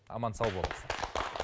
аман сау болыңыздар